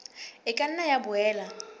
e ka nna ya boela